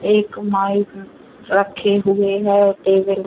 एक माइक रखे हुए हैं टेबल --